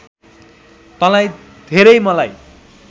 तँलाई धेरै मलाई